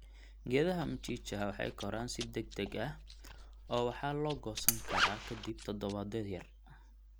Geedaha mchicha waxay koraan si degdegah oo waxaa lagoosan karaa kadib toddobaadyo yar.